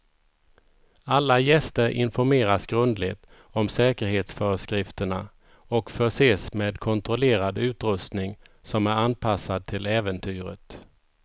Alla gäster informeras grundligt om säkerhetsföreskrifterna och förses med kontrollerad utrustning som är anpassad till äventyret.